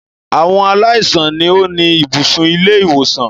Àwọn aláìsàn ni ó ni ibùsùn ilé-ìwòsàn.